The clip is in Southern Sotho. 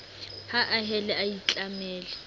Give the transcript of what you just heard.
ha a hele a itlamele